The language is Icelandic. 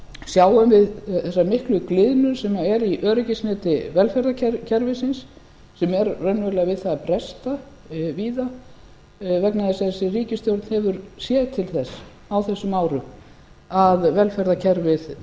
sjáum við þessa miklu gliðnun sem er í öryggisneti velferðarkerfisins sem er raunverulega við það að bresta víða vegna þess að þessi ríkisstjórn hefur séð til þess á þessum árum að velferðarkerfið